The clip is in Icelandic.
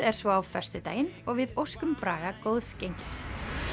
er svo á föstudaginn og við óskum Braga góðs gengis